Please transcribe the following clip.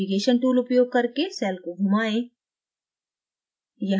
navigation tool उपयोग करके cell को घुमाएं